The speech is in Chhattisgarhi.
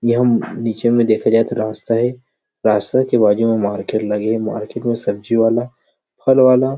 ये हम नीचे में देखे जाय तो रास्ता हे रास्ता हे बाजु में मार्केट लगे हे मार्केट में सब्जी वाला फल वाला।